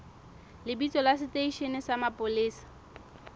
lebitso la seteishene sa mapolesa